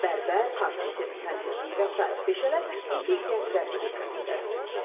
Bərbər, kompüter mühəndisliyi və sair peşələr indi gənclərin diqqətindədir.